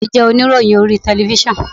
Ọ̀rẹ́ mi jẹ́ oníròyìn orí telifíṣàn.